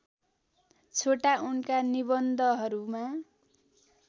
छोटा उनका निबन्धहरूमा